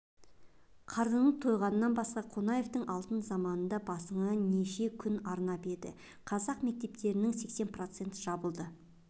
қарының тойғаннан басқа қонаевтың алтын заманында басыңа неше күн арнап еді қазақ мектептерінің сексен процент жабылды